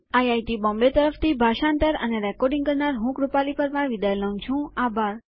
IIT Bombay તરફ થી ભાષાંતર કરનાર હું છું કૃપાલી પરમારઆભાર